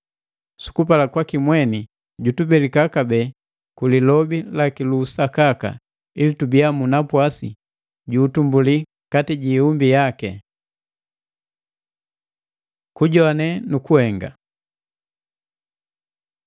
Sukupala kwaki mweni jutubelika kabee ku lilobi laki lu usakaka, ili tubiya mu napwasi ju utumbuli kati ji iumbi yaki. Kujoane nu kuhenga